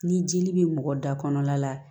Ni jeli bɛ mɔgɔ da kɔnɔla la